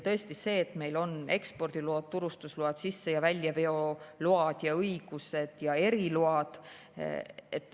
Tõesti, meil on ekspordiload, turustusload, sisse- ja väljaveo load ja õigused ja eriload.